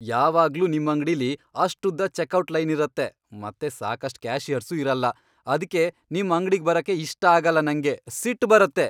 ಯಾವಾಗ್ಲೂ ನಿಮ್ ಅಂಗ್ಡಿಲಿ ಅಷ್ಟುದ್ದ ಚೆಕ್ಔಟ್ ಲೈನ್ ಇರತ್ತೆ ಮತ್ತೆ ಸಾಕಷ್ಟ್ ಕ್ಯಾಷಿಯರ್ಸೂ ಇರಲ್ಲ, ಅದ್ಕೇ ನಿಮ್ ಅಂಗ್ಡಿಗ್ ಬರಕ್ಕೇ ಇಷ್ಟ ಆಗಲ್ಲ ನಂಗೆ, ಸಿಟ್ಟ್ ಬರತ್ತೆ.